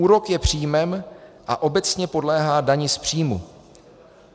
Úrok je příjmem a obecně podléhá dani z příjmu.